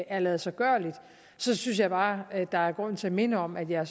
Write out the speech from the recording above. er ladesiggørligt synes jeg bare at der er grund til at minde om at jeg